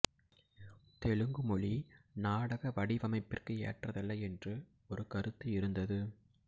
தெலுங்கு மொழி நாடக வடிவமைப்பிற்கு ஏற்றதல்ல என்று ஒரு கருத்து இருந்தது